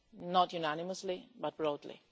Not unanimously, but broadly.